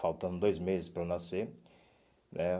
Faltando dois meses para eu nascer né.